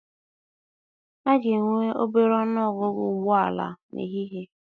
A ga-enwe obere ọnụ ọgụgụ ụgbọ ala n'ehihie.